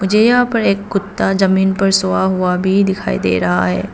मुझे यह पर एक कुत्ता जमीन पर सोवा हुआ भी दिखाई दे रहा है।